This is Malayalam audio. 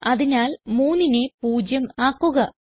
അതിനാൽ 3നെ 0 ആക്കുക